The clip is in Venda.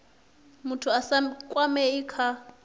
muthu a sa kwamei kha